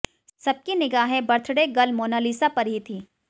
सबकी निगाहें birthday girl Monalisa पर ही थीं